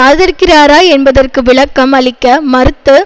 ஆதரிக்கிறாரா என்பதற்கு விளக்கம் அளிக்க மறுத்த